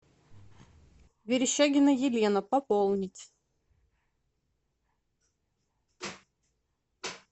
верещагина елена пополнить